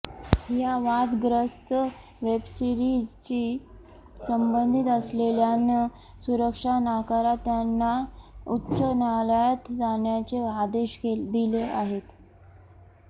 या वादग्रस्त वेबसीरिजशी संबंधित असलेल्यांन सुरक्षा नाकारात त्यांना उच्च न्यायालयात जाण्याचे आदेश दिले आहेत